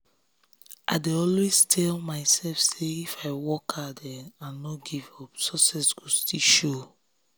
i dey always tell myself say if i work hard and no give up success go still show.